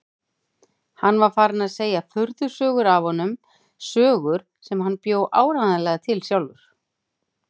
Hann var farinn að segja furðusögur af honum, sögur sem hann bjó áreiðanlega til sjálfur.